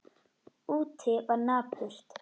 Úti var napurt.